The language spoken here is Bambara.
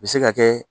U bɛ se ka kɛ